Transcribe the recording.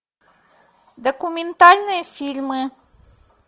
документальные фильмы